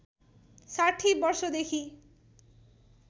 ६० वर्षोदेखि